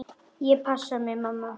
Ég passa mig, mamma.